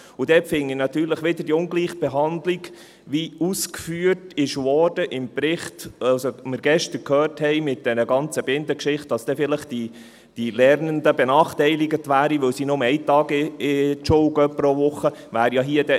Dort finde ich natürlich wieder, es sei eine Ungleichbehandlung, wie ausgeführt wurde im Bericht, wie wir gestern gehört haben, mit diesen ganzen Bindengeschichten, dass dann die Lernenden vielleicht benachteiligt wären, weil sie nur einen Tag pro Woche zur Schule gehen.